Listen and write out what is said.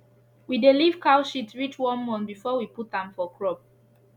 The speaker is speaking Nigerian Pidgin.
we dey leave cow shit reach 1month before we put am for crop